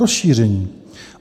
Rozšíření.